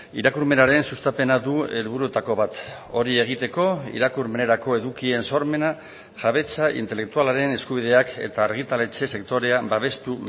irakurmenaren sustapena du helburuetako bat hori egiteko irakurmenerako edukien sormena jabetza intelektualaren eskubideak eta argitaletxe sektorea babestu